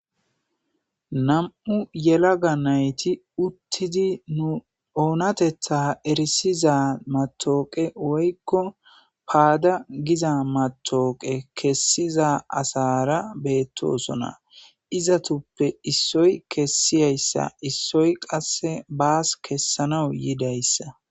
nam7u yelaga nayti uttidi nu oonatetha erisiza matooqe woykko paada giza matooqe kessiza asara beettoosona izatuppe issoy kessiyayssa issoy qasse baas kessanaw yidayssa